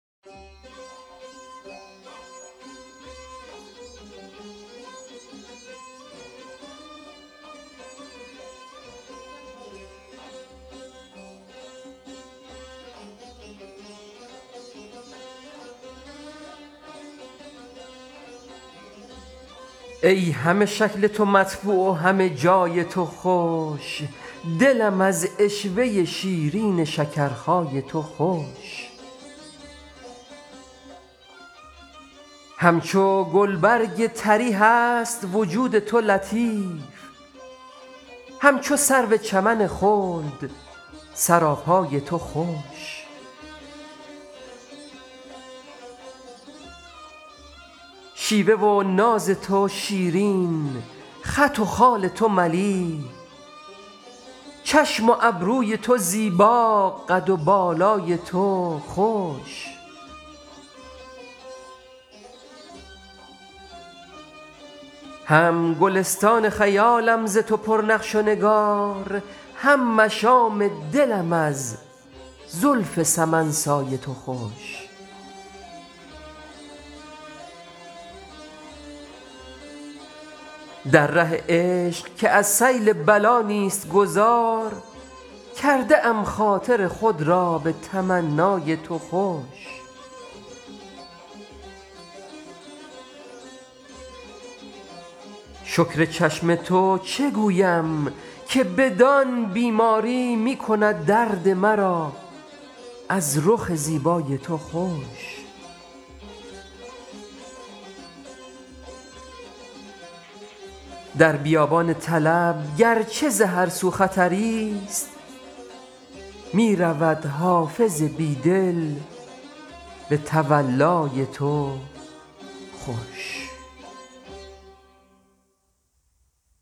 ای همه شکل تو مطبوع و همه جای تو خوش دلم از عشوه شیرین شکرخای تو خوش همچو گلبرگ طری هست وجود تو لطیف همچو سرو چمن خلد سراپای تو خوش شیوه و ناز تو شیرین خط و خال تو ملیح چشم و ابروی تو زیبا قد و بالای تو خوش هم گلستان خیالم ز تو پر نقش و نگار هم مشام دلم از زلف سمن سای تو خوش در ره عشق که از سیل بلا نیست گذار کرده ام خاطر خود را به تمنای تو خوش شکر چشم تو چه گویم که بدان بیماری می کند درد مرا از رخ زیبای تو خوش در بیابان طلب گر چه ز هر سو خطری ست می رود حافظ بی دل به تولای تو خوش